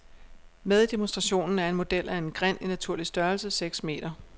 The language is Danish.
Med i demonstrationen er en model af en grind i naturlig størrelse, seks meter.